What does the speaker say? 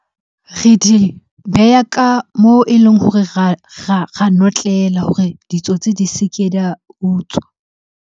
Re di beha ka moo e leng hore ra notlela hore ditsotsi di se ke di a utswa.